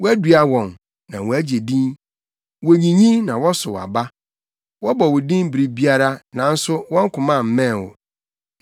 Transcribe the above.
Woadua wɔn, na wɔagye ntin; wonyinyin na wɔsow aba. Wɔbɔ wo din bere biara nanso wɔn koma mmɛn wo.